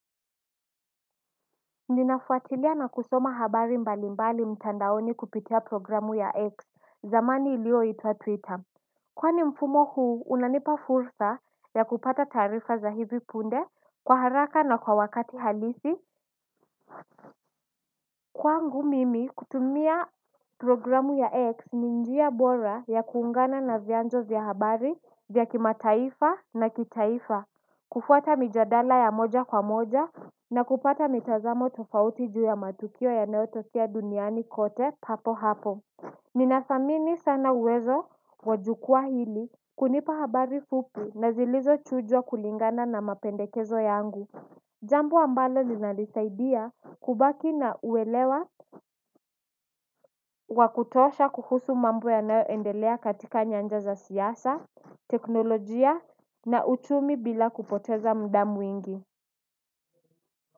Ninafuatilia na kusoma habari mbali mbali mtandaoni kupitia programu ya X zamani ilio itwa Twitter kwani mfumo huu unanipa fursa ya kupata taarifa za hivi punde kwa haraka na kwa wakati halisi kwangu mimi kutumia programu ya X ni njia bora ya kuungana na vyanzo vya habari vya kima taifa na kitaifa kufuata mijadala ya moja kwa moja na kupata mitazamo tofauti juu ya matukio ya nayotokea duniani kote papo hapo ninathamini sana uwezo wajukua hili kunipa habari fupi na zilizo chujwa kulingana na mapendekezo yangu jambo ambalo linalini saidia kubaki na uelewa wakutosha kuhusu mambo yanayo endelea katika nyanja za siasa teknolojia na uchumi bila kupoteza muda mwingi.